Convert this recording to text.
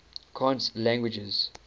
cant languages